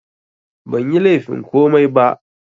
Banyi laifin komai ba